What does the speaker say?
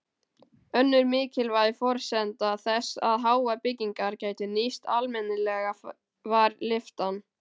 Önnur mikilvæg forsenda þess að háar byggingar gætu nýst almennilega var lyftan.